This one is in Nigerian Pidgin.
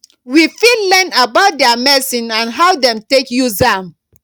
we fit learn about their medicine and how dem take use am